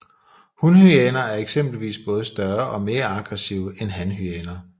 Hunhyæner er eksempelvis både større og mere aggressive end hanhyæner